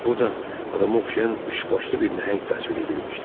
Burda adama oxşayan üçbaşlı bir nəhəng təsvir edilmişdi.